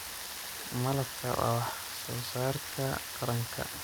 Malabka waa wax soo saarka qaranka.